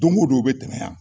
Don o don u bɛ tɛmɛ yan